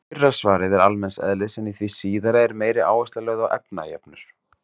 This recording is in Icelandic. Fyrra svarið er almenns eðlis en í því síðara er meiri áhersla lögð á efnajöfnur.